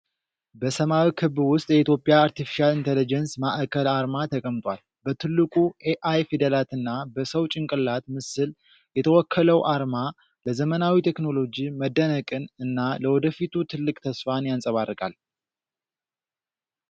በሰማያዊ ክብ ውስጥ የኢትዮጵያ አርቴፊሻል ኢንተለጀንስ ማዕከል አርማ ተቀምጧል። በትልቁ 'ኤአይ' ፊደላትና በሰው ጭንቅላት ምስል የተወከለው አርማ ለዘመናዊ ቴክኖሎጂ መደነቅን እና ለወደፊቱ ትልቅ ተስፋን ያንጸባርቃል።